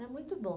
Era muito bom.